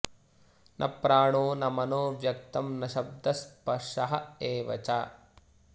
न प्राणो न मनो व्यक्तं न शब्दः स्पर्श एव च